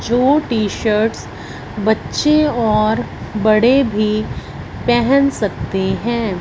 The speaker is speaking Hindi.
जो टी शर्ट्स बच्चे और बड़े भी पहन सकते हैं।